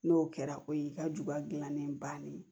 N'o kɛra o y'i ka juguya gilannen bannen ye